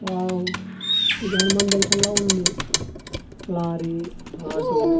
wow ఇది Hanuman junction లా ఉంది లారీ ఆటో --